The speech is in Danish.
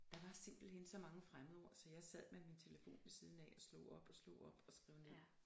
Der var simpelthen så mange fremmedord så jeg sad med min telefon ved siden af og slog op og slog op og skrev ned